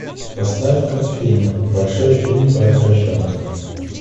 поставь ка фильм большой фильм про поросенка